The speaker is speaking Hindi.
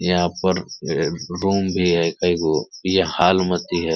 यहाँ पर ये रूम भी है एके गो। ये हॉल मति है।